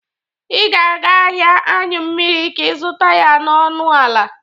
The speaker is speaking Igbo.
Ị ga-aga ahịa aṅyụ mmiri ka ị zụta ya n'ọnụ ala.